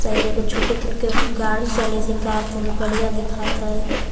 शायद एगो छोटे गोट के गाड़ी चलइत हैइ का त गाड़िया देखात है।